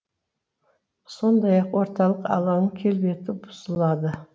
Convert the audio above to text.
сондай ақ орталық алаңның келбеті бұзылады